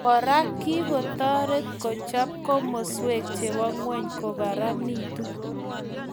Kora kikotoret kochab komaskwek chebo ngweny kokararanitu